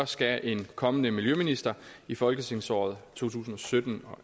skal en kommende miljøminister i folketingsåret to tusind og sytten